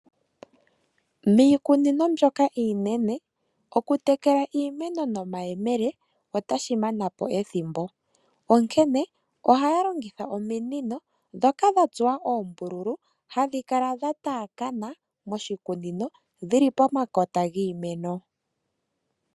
Miikunino mbyoka iinene okutekela iimeno nomayemele otashi manapo ethimbo. Onkene ohayalongitha ominino dhoka dhatsuwa oombululu, hadhikala dhataakana moshikunino dhili pomakota giimeno.